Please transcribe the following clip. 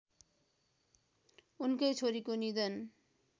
उनकै छोरीको निधन